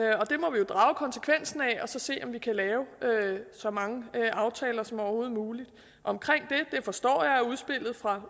drage konsekvensen af og så se om vi kan lave så mange aftaler som overhovedet muligt jeg forstår at udspillet fra